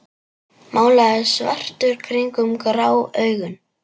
Málaður svartur kringum grá augun.